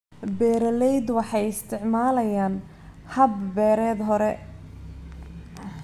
Beeraleydu waxay isticmaalayaan hab-beereed hore.